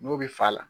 N'o bɛ fa la